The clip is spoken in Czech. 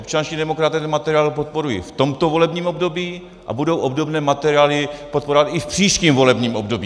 Občanští demokraté ten materiál podporují v tomto volebním období a budou obdobné materiály podporovat i v příštím volebním období.